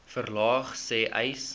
verlaag sê uys